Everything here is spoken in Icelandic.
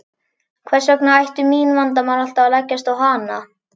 Hvers vegna ættu mín vandamál alltaf að leggjast á hana.